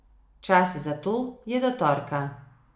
Čas za to je do torka.